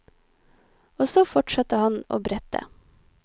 Og så fortsatte han å brette.